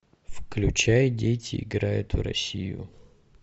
включай дети играют в россию